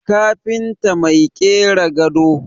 kafinta Mai kera gado